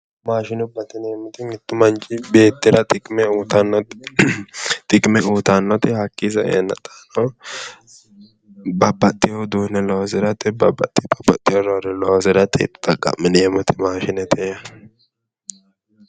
Maashinubbate yineemoti mittu mqnichi beettira xiqime uyitannote hakii saeena xaano babbaxewo uduune loosirate babbaxewo babbaxewo looso loosirate xa'qamineemoti mashinete yaate